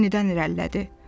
Yenidən irəlilədi.